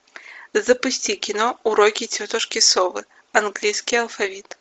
запусти кино уроки тетушки совы английский алфавит